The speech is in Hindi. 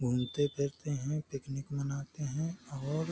घूमते फिरते हैं। पिकनिक मनाते हैं और --